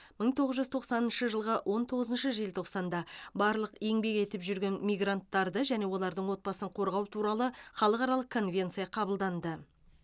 мың тоғыз жүз тоқсаныншы жылғы он тоғызыншы желтоқсанда барлық еңбек етіп жүрген мигранттарды және олардың отбасын қорғау туралы халықаралық конвенция қабылданды